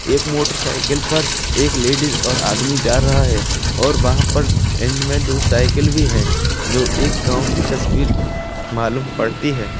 एक मोटरसाइकिल पर एक लेडीज और आदमी जा रहा है और वहाँ पर एंड में दो साइकिल भी है जो एक गाँव की तस्वीर मालूम पड़ती है।